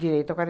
Direito é